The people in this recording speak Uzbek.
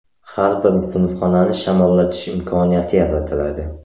Har bir sinfxonani shamollatish imkoniyati yaratiladi.